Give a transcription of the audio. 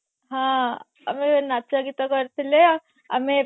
ହଁ ଆଉ ନାଚ ଗୀତ କରିଥିଲେ ଆମେ